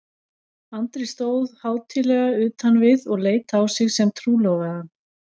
Andri stóð hátíðlega utan við og leit á sig sem trúlofaðan.